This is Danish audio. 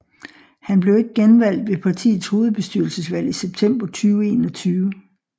Han blev ikke genvalgt ved partiets hovedbestyrelsesvalg i september 2021